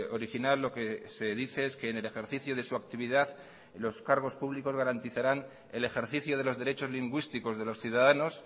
original lo que se dice es que en el ejercicio de su actividad los cargos públicos garantizarán el ejercicio de los derechos lingüísticos de los ciudadanos